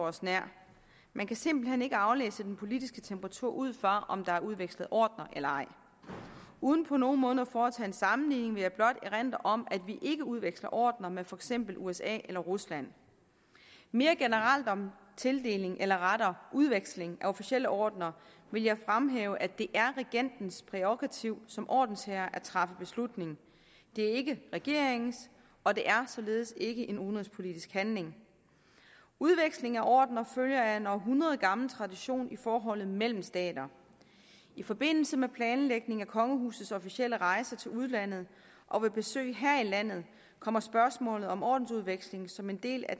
os nær man kan simpelt hen ikke aflæse den politiske temperatur ud fra om der er udvekslet ordener eller ej uden på nogen måde at foretage en sammenligning vil jeg blot erindre om at vi ikke udveksler ordener med for eksempel usa eller rusland mere generelt om tildeling eller rettere udveksling af officielle ordener vil jeg fremhæve at det er regentens prærogativ som ordensherre at træffe beslutning og det er ikke regeringens og det er således ikke en udenrigspolitisk handling udveksling af ordener følger af en århundredgammel tradition i forholdet mellem stater i forbindelse med planlægning af kongehusets officielle rejser til udlandet og ved besøg her i landet kommer spørgsmålet om ordensudveksling som en del af